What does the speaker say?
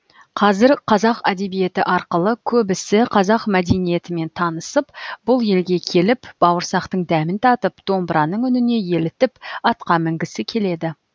қазір қазақ әдебиеті арқылы көбісі қазақ мәдениетімен танысып бұл елге келіп бауырсақтың дәмін татып домбыраның үніне елітіп атқа мінгісі келеді